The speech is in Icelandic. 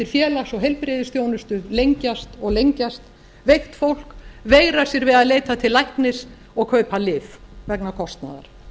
félags og heilbrigðisþjónustu lengjast og lengjast veikt fólk veigrar sér við að leita til læknis og kaupa lyf vegna kostnaðar